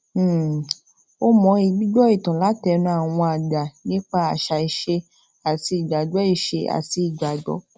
um ó mọyi gbígbó ìtàn látẹnu àwọn àgbà nípa àṣà ise àti ìgbàgbó ise àti ìgbàgbó